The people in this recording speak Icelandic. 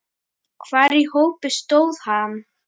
Hvar í hópi stóð hann?